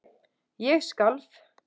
Ég skalf.